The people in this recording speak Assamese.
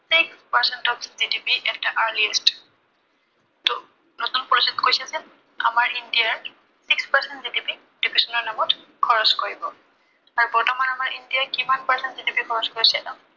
six percent of GDP ত নতুন policy ত কৈছে যে, আমাৰ ইণ্ডিয়াত six percent GDP education ৰ নামত খৰছ কৰিব। আৰু বৰ্তমান আমাৰ ইণ্ডিয়াই কিমান percent GDP খৰচ কৰিছে।